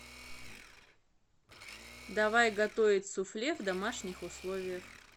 давай готовить суфле в домашних условиях